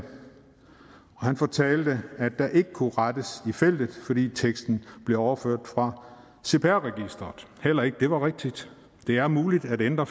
han fortalte at der ikke kunne rettes i feltet fordi teksten bliver overført fra cpr registeret heller ikke det var rigtigt det er muligt at ændre